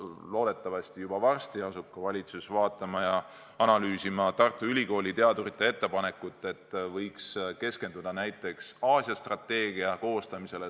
Loodetavasti varsti asub ka valitsus analüüsima Tartu Ülikooli teadurite ettepanekut, et võiks keskenduda näiteks Aasia strateegia koostamisele.